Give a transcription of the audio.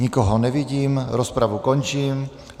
Nikoho nevidím, rozpravu končím.